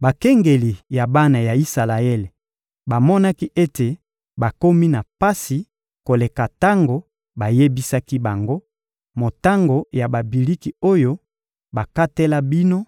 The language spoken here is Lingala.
Bakengeli ya bana ya Isalaele bamonaki ete bakomi na pasi koleka tango bayebisaki bango: «Motango ya babiliki oyo bakatela bino